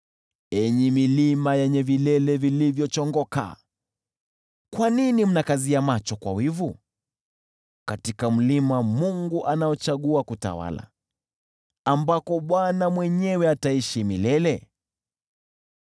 Enyi milima yenye vilele vilivyochongoka, kwa nini mnakazia macho kwa wivu, katika mlima Mungu anaochagua kutawala, ambako Bwana mwenyewe ataishi milele?